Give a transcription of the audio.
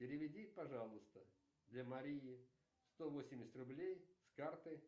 переведи пожалуйста для марии сто восемьдесят рублей с карты